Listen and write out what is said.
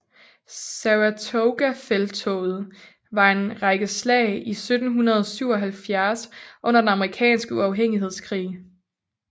Saratogafelttoget var en række slag i 1777 under den amerikanske uafhængighedskrig